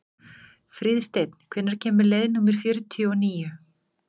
Fríðsteinn, hvenær kemur leið númer fjörutíu og níu?